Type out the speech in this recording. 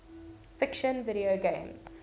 fiction video games